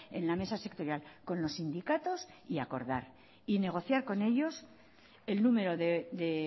en la mesa sectorial con los sindicatos y acordar y negociar con ellos el número de